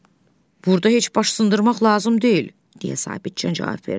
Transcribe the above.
Burda heç baş sındırmaq lazım deyil, deyə Sabitcan cavab verdi.